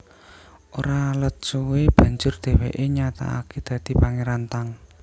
Ora let suwé banjur dhèwèké nyatakaké dadi Pangéran Tang